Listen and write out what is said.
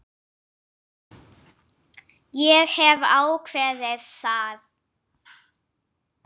Ég hef ákveðið það.